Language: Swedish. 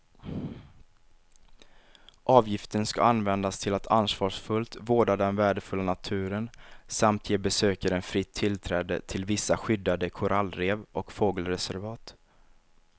Avgiften ska användas till att ansvarsfullt vårda den värdefulla naturen samt ge besökaren fritt tillträde till vissa skyddade korallrev och fågelreservat.